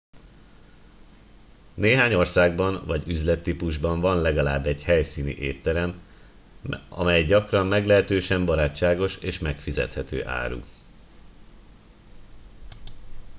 néhány országban vagy üzlettípusban van legalább egy helyszíni étterem amely gyakran meglehetősen barátságos és megfizethető árú